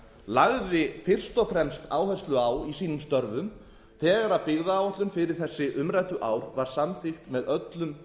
lagði fyrst og fremst áherslu á í sínum störfum þegar byggðaáætlun fyrir þessi umræddu ár var samþykkt með öllum